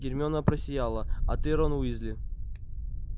гермиона просияла а ты рон уизли